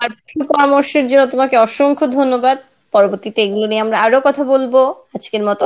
তোমাকে অসংখ্য ধন্যবাদ. পরবর্তিতে এইগুলো নিয়ে আমরা আরও কথা বলবো, আজকের মতো